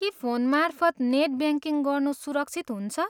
के फोनमार्फत net banking गर्नु सुरक्षित हुन्छ?